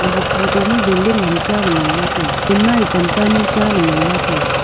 ag photo ma building ham cha la ngan la taiga chen ma ye pan panyu cha la ngan la taiga.